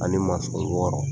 Ani wɔɔrɔ